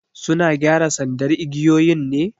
Suna gyara sandar igiyoyin ne?